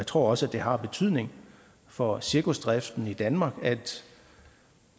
tror også det har betydning for cirkusdriften i danmark at